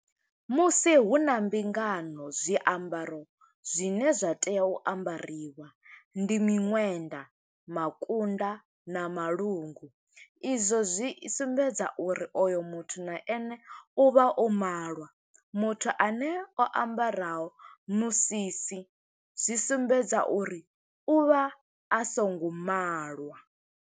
Musi hu na mbingano, zwiambaro zwine zwa tea u ambariwa ndi miṅwenḓa, makunda, na malungu. Izwo zwi sumbedza, uri oyo muthu na ene u vha o malwa. Muthu ane o ambaraho musisi, zwi sumbedza uri u vha a songo malwa.